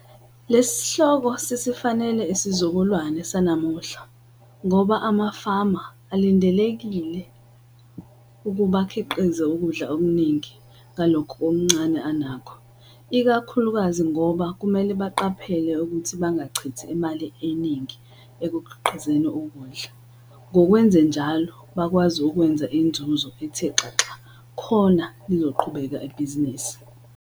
Lesi sihloko sisifanele isizukulwane sanamuhla ngoba amafama alindeleke ukuba akhiqize ukudla okuningi ngalokhu okuncane anakho, ikakhulukazi ngoba kumele baqaphele ukuthi bangachithi imali eningi ekukhiqizeni ukudla. Ngokwenzenjalo bakwazi ukwenza inzuzo ethe xaxa khona lizoqhubeka ibhizinisi.